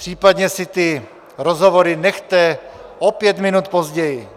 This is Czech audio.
Případně si ty rozhovory nechte o pět minut později.